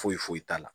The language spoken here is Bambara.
Foyi foyi t'a la